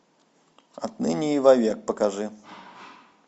отныне и вовек покажи